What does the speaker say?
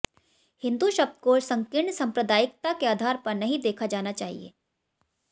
हिंदू शब्द को संकीर्ण सांप्रदायिकता के आधार पर नहीं देखा जाना चाहिए